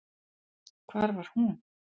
Hvar var hún?